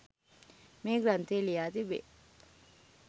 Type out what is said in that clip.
මේ ග්‍රන්ථය ලියා තිබේ.